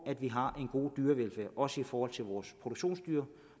at vi har en god dyrevelfærd også i forhold til vores produktionsdyr